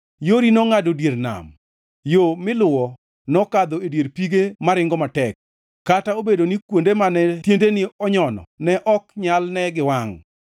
Yori nongʼado dier nam, yo miluwo nokadho e dier pige maringo matek, kata obedo ni kuonde mane tiendeni onyono ne ok nyal ne gi wangʼ.